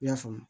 I y'a faamu